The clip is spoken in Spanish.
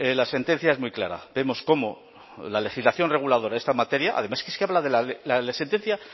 la sentencia es muy clara vemos cómo la legislación reguladora de esta materia además es que la sentencia